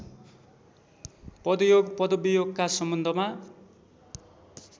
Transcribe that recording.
पदयोग पदवियोगका सम्बन्धमा